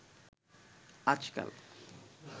আজকাল